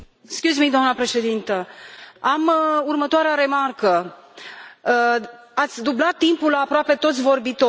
Doamnă președintă, am următoarea remarcă ați dublat timpul pentru aproape toți vorbitorii.